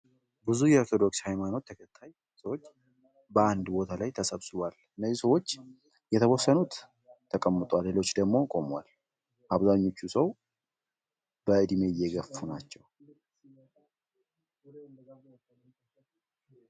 ብዙ የኦርቶዶክስ ሃይማኖት ተከታይ ሰዎች በአንድ ቦታ ላይ ተሰብስበዋል። እነዚህ ሰዎች የተወሰኑት ተቀምጠዋል ሌሎቹ ደግሞ ቆመዋል። አብዛኞቹ ሰዎች በእድሜ የገፉ ናቸው።